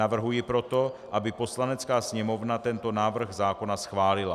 Navrhuji proto, aby Poslanecká sněmovna tento návrh zákona schválila.